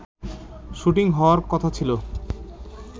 shooting হাওয়ার কথা ছিল